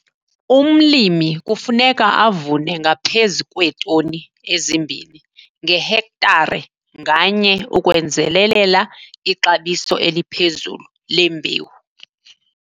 Umlimi kufuneka avune ngaphezu kweetoni ezimbini ngehektare nganye ukwenzelelela ixabiso eliphezulu lembewu.